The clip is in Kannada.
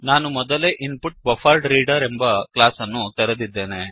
ನಾನು ಮೊದಲೇ ಇನ್ಪುಟ್ಬಫರ್ಡ್ರೆಡರ್ ಎಂಬ ಕ್ಲಾಸ್ ಅನ್ನು ತೆರೆದಿದ್ದೇನೆ